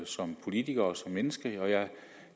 som politiker og som menneske og jeg